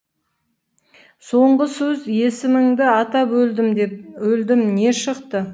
соңғы сөз есіміңді атап өлдім деп не шықты